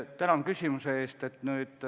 Tänan küsimuse eest!